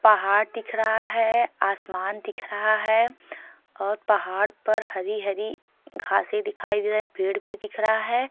पहाड़ दिख रहा हैं आसमान दिख रहा हैं और पहाड़ पर हरी हरी घासें दिखाई दे रहीं हैं पेड़ भी दिख रहा हैं।